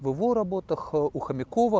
в его работах у хомякова